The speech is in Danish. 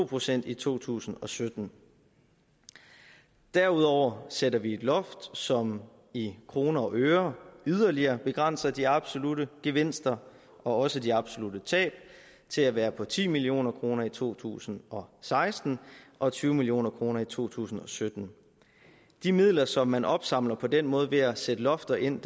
procent i to tusind og sytten derudover sætter vi et loft som i kroner og øre yderligere begrænser de absolutte gevinster og også de absolutte tab til at være på ti million kroner i to tusind og seksten og tyve million kroner i to tusind og sytten de midler som man opsamler på den måde ved at sætte lofter ind